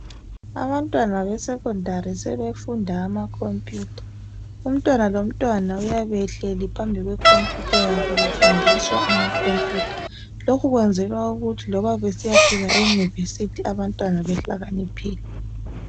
Abantwana be 'secondary' sebefunda amakhomphiyutha. Umntwana lomntwana uyabe ehleli phambi kwe khomphiyutha yakhe, befundiswa amakhophiyutha. Lokhu kuyenzelwa okuthi loba besiyafika eyunivesiti abantwana behlakaniphile.